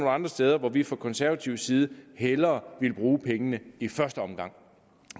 andre steder hvor vi fra konservativ side hellere ville bruge pengene i første omgang